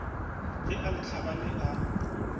ge a le tlhabane a